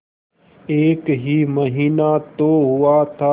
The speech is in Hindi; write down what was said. एक ही महीना तो हुआ था